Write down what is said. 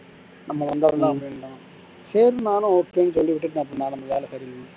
நம்ம வந்துறலாம் அப்படின்டான் சரி நானும் okay ன்னு சொல்லி விட்டுட்டு நா அப்பறம் வேலை கிடைக்கும்னு